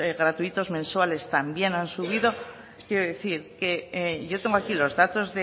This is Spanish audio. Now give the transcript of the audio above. gratuitos mensuales también han subido quiero decir yo tengo aquí los datos